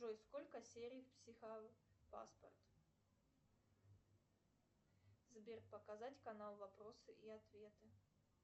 джой сколько серий в психопаспорт сбер показать канал вопросы и ответы